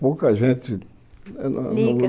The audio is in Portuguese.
Pouca gente... Liga.